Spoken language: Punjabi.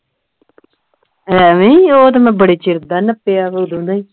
ਐਵੇਂ ਹੀ ਉਹ ਤੇ ਮੈਂ ਬੜੇ ਚਿਰ ਦਾ ਨਪਿਆ ਓਦੋਂ ਦਾ ਹੀ